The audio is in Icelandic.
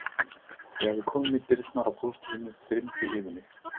Þegar við komum í dyrnar á pósthúsinu þyrmdi yfir mig.